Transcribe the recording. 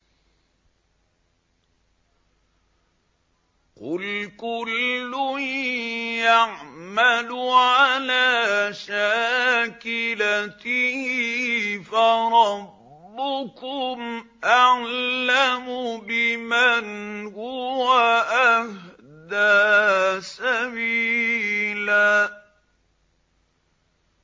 قُلْ كُلٌّ يَعْمَلُ عَلَىٰ شَاكِلَتِهِ فَرَبُّكُمْ أَعْلَمُ بِمَنْ هُوَ أَهْدَىٰ سَبِيلًا